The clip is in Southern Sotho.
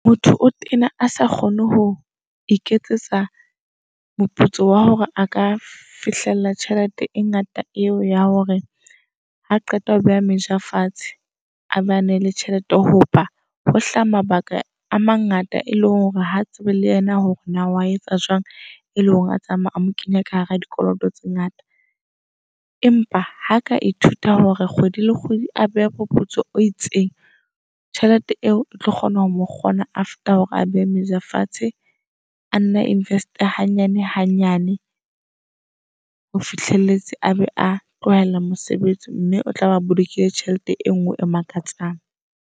Motho o tena a sa kgone ho iketsetsa moputso wa hore a ka fihlella tjhelete e ngata eo ya hore ha qeta ho beha meja fatshe, a bane le tjhelete. Hoba ho hlaha mabaka a mangata e le hore ha tsebe le yena hore na oa etsa jwang e le hore a tsamaya a mo kenya ka hara dikoloto tse ngata. Empa ha ka ithuta hore kgwedi le kgwedi a behe moputso o itseng. Tjhelete eo e tlo kgona ho mo kgona after hore a beha meja fatshe a nne a invest-e hanyane hanyane. Ho fihlelletse a be a tlohela mosebetsi mme o tla be a bolokile tjhelete e ngwe e makatsang.